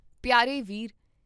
ਪਿਆਰੇ ਵੀਰ!